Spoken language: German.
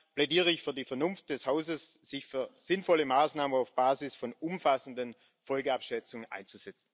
Deshalb plädiere ich für die Vernunft des Hauses, sich für sinnvolle Maßnahmen auf Basis von umfassenden Folgenabschätzungen einzusetzen.